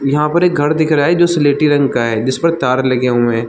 यहाँ पर एक घर दिख रहा हे जो स्लेटी रंग का हे जिस पर तार लगे हुए हे।